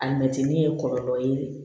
A mɛtiri ye kɔlɔlɔ ye